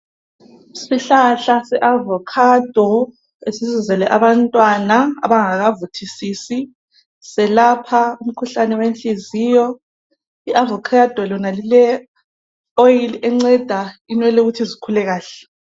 Isihlahla seavokhado, esesizele abantwana abangakavuthisisi, selapha umikhuhlane wenhliziyo. I avokhado lona lile oyili yenceda inwele ukuthi zikule kahle